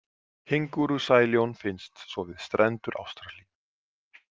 Kengúrusæljón finnst svo við strendur Ástralíu.